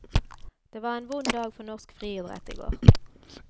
Det var en vond dag for norsk friidrett i går.